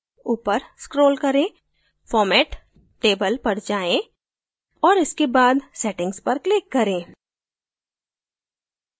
ऊपर scroll करें format table पर जाएँ औऱ इसके बाद settings पर click करें